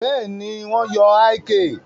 Bẹ́ẹ̀ni, wọn yóò ìk